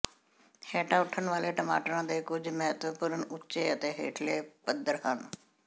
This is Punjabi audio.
ਹੇਠਾਂ ਉੱਠਣ ਵਾਲੇ ਟਮਾਟਰਾਂ ਦੇ ਕੁੱਝ ਮਹੱਤਵਪੂਰਨ ਉੱਚੇ ਅਤੇ ਹੇਠਲੇ ਪੱਧਰ ਹਨ